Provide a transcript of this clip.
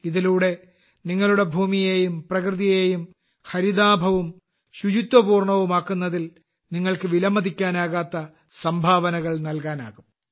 ഇതിലൂടെ നിങ്ങളുടെ ഭൂമിയെയും പ്രകൃതിയെയും ഹരിതാഭവും ശുചിത്വപൂർണ്ണമാക്കുന്നതിൽ നിങ്ങൾക്ക് വിലമതിക്കാനാകാത്ത സംഭാവനകൾ നൽകാനാകും